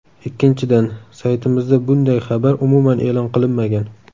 Ikkinchidan, saytimizda bunday xabar umuman e’lon qilinmagan.